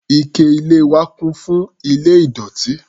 Ike ilẹ̀ wa kún fún ilẹ̀ ìdọ̀tí.